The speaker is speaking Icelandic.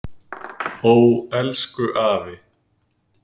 Ó, elsku afi.